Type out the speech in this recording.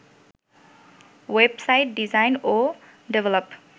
web site design ও develop